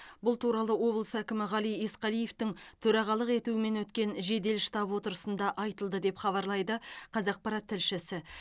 бұл туралы облыс әкімі ғали есқалиевтің төрағалық етуімен өткен жедел штаб отырысында айтылды деп хабарлайды қазақпарат тілшісі